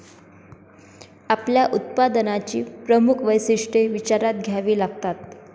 आपल्या उत्पादनाची प्रमुख वैशिष्ट्ये विचारात घ्यावी लागतात.